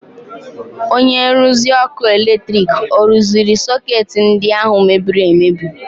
Onye nruzi ọkụ eletrik ọ rụziri sọkeetị ndị ahụ mebiri emebi?